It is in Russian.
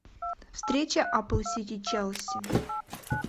встреча апл сити челси